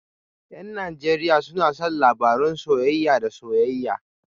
Yan Najeriya suna son labarun soyayya da soyayya